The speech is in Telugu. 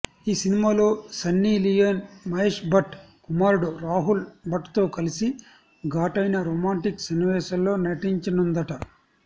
ఈ సినిమాలో సన్నీ లియోన్ మహేష్ భట్ కుమారుడు రాహుల్ భట్ తో కలిసి ఘాటైన రొమాంటిక్ సన్నివేశాల్లో నటించనుందట